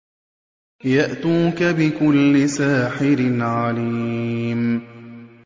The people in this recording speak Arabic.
يَأْتُوكَ بِكُلِّ سَاحِرٍ عَلِيمٍ